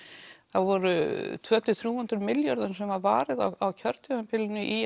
það voru tvö hundruð til þrjú hundruð milljörðum sem var varið á kjörtímabilinu í